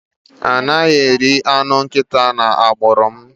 A naghi eri anụ nkịta n'agbụrụ m